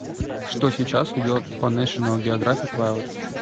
что сейчас идет по нэшнл географик вайлд